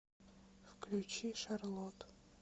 включи шарлот